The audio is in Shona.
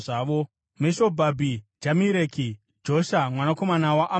Meshobhabhi, Jamireki, Josha mwanakomana waAmazia,